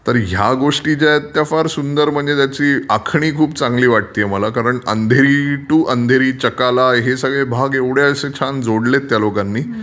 तर ह्या गोष्टी ज्या आहेत त्या फार सुंदर म्हणजे त्याची आखणी खूप चांगली वाटतेय मला अंधेरी टू चकाला हे सगळे भाग एवढ्या असे छान जोडलेत त्या लोकांनी...